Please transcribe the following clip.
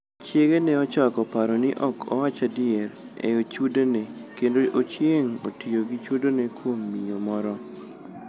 Chiege ne ochako paro ni ok owach adier e chudone kendo ochieng otiyo gi chudone kuom miyo moro.